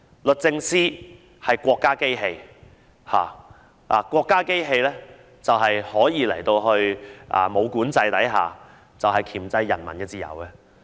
律政司是國家機器，國家機器可以在沒有管制的情況下箝制人民的自由。